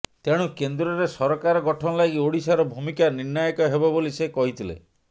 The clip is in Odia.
ତେଣୁ କେନ୍ଦ୍ରରେ ସରକାର ଗଠନ ଲାଗି ଓଡ଼ିଶାର ଭୂମିକା ନିର୍ଣ୍ଣାୟକ ହେବ ବୋଲି ସେ କହିଥିଲେ